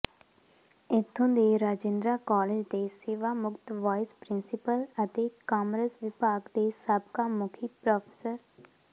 ਇਥੋਂ ਦੇ ਰਾਜਿੰਦਰਾ ਕਾਲਜ ਦੇ ਸੇਵਾਮੁਕਤ ਵਾਈਸ ਪਿੰ੍ਰਸੀਪਲ ਅਤੇ ਕਾਮਰਸ ਵਿਭਾਗ ਦੇ ਸਾਬਕਾ ਮੁਖੀ ਪ੍ਰੋ